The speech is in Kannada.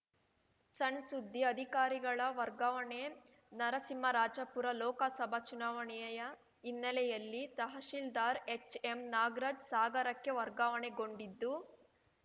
ಸಣ್‌ ಸುದ್ದಿ ಅಧಿಕಾರಿಗಳ ವರ್ಗಾವಣೆ ನರಸಿಂಹರಾಜಪುರ ಲೋಕಸಭಾ ಚುನಾವಣೆಯ ಹಿನ್ನೆಲೆಯಲ್ಲಿ ತಹಸೀಲ್ದಾರ್‌ ಎಚ್‌ಎಂ ನಾಗರಾಜ್‌ ಸಾಗರಕ್ಕೆ ವರ್ಗಾವಣೆಗೊಂಡಿದ್ದು